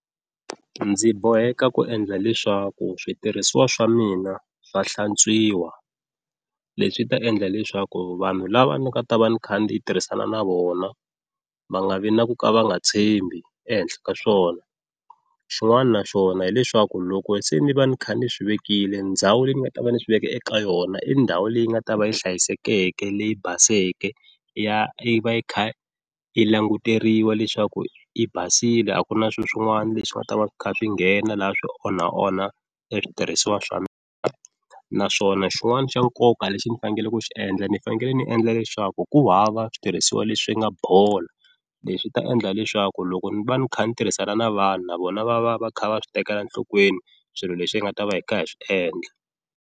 Ndzi boheka ku endla leswaku switirhisiwa swa mina swa hlantswiwa leswi ta endla leswaku vanhu lava ni nga ta va ni kha ndzi ni tirhisana na vona va nga vi na ku ka va nga tshembi ehenhla ka swona, xin'wana na xona hileswaku loko se ni va ni kha ni swi vekile ndhawu leyi ni nga ta va ndzi swi veke eka yona i ndhawu leyi nga ta va yi hlayisekeke leyi baseke ya e va yi kha yi languteriwa leswaku yi basile a ku na swilo swin'wana leswi nga ta va kha swi nghena laha swi onha onha i switirhisiwa swa mina, naswona xin'wana xa nkoka lexi ni fanekele ku xi endla ni fanekele ni endla leswaku ku hava switirhisiwa leswi nga bola leswi ta endla leswaku loko ni va ni kha ni tirhisana na vanhu na vona va va va kha va swi tekela enhlokweni swilo leswi hi nga ta va hi kha hi swi endla.